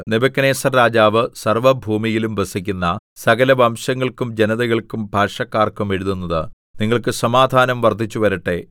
Nebuchadnezzar രാജാവ് സർവ്വഭൂമിയിലും വസിക്കുന്ന സകലവംശങ്ങൾക്കും ജനതകൾക്കും ഭാഷക്കാർക്കും എഴുതുന്നത് നിങ്ങൾക്ക് സമാധാനം വർദ്ധിച്ചുവരട്ടെ